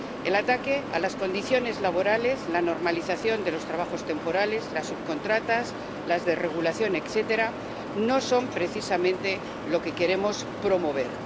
El ataque a las condiciones laborales, la normalización de los trabajos temporales, las subcontratas, las desregulaciones, etcétera, no son precisamente lo que queremos promover.